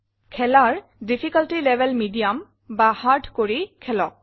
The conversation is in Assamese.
খেলাৰ ডিফিকাল্টি লেভেল মিডিয়াম বা হাৰ্ড কৰি খেলক